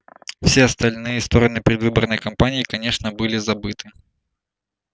все остальные стороны предвыборной кампании конечно были забыты